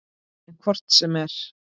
En hvort sem